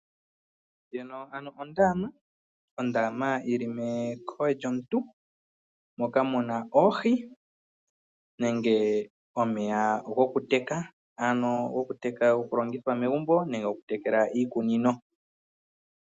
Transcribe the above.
Ondama yi li menkolo lyomuntu moka mu na oohi nenge omeya gokuteka. Omeya gokuteka okulongithwa megumbo nenge okutekela iikunino.